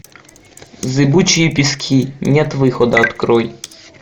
зыбучие пески нет выхода открой